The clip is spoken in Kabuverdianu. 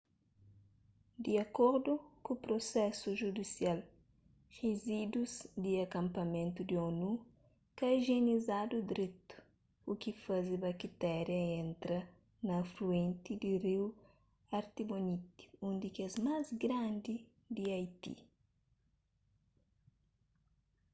di akordu ku prusesu judisial rizídus di akanpamentu di onu ka ijienizadu dretu u ki faze baktéria entra na afluenti di riu artibonite un di kes más grandi di haiti